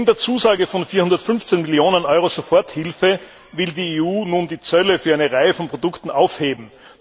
Neben der Zusage von 415 Millionen Euro Soforthilfe will die EU nun die Zölle für eine Reihe von Produkten aufheben.